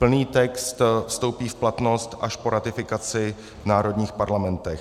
Plný text vstoupí v platnost až po ratifikaci v národních parlamentech.